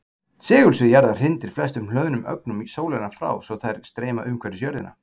Segulsvið jarðar hrindir flestum hlöðnum ögnum sólarinnar frá svo þær streyma umhverfis jörðina.